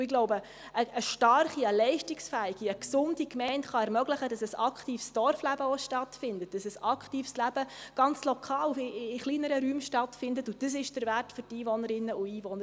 Ich glaube, eine starke, leistungsfähige und gesunde Gemeinde kann ermöglichen, dass auch ein aktives Dorfleben, ein aktives Leben, ganz lokal, wie in kleineren Räumen stattfindet, und dies ist der Wert für die Einwohnerinnen und Einwohner.